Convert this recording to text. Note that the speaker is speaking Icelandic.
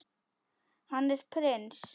Hann er prins.